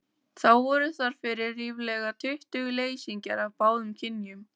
Þá voru þar fyrir ríflega tuttugu leysingjar af báðum kynjum.